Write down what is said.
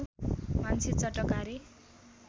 मान्छे चटकारे